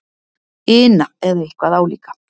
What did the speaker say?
ina eða eitthvað álíka.